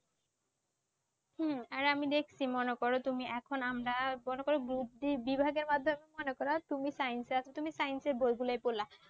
হ্যাঁ আর আমি দেখছি মনে কর তুমি এখন আমরা মনে কর Group D বিভাগের মাধ্যমে মনে করো তুমি Science এ আছো তুমি Science এর বইগুলোই পড়লা